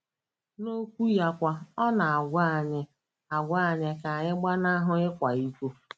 N’Okwu ya kwa, ọ na - agwa anyị - agwa anyị ka anyị ‘ gbanahụ ịkwa iko. ’